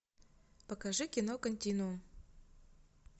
покажи кино континуум